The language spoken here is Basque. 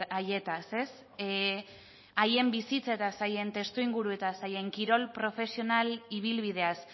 haietaz haien bizitzetaz haien testuinguruetaz haien kirol profesional ibilbideaz